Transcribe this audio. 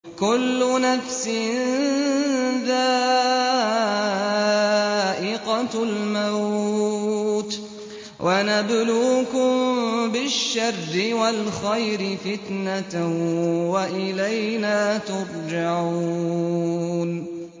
كُلُّ نَفْسٍ ذَائِقَةُ الْمَوْتِ ۗ وَنَبْلُوكُم بِالشَّرِّ وَالْخَيْرِ فِتْنَةً ۖ وَإِلَيْنَا تُرْجَعُونَ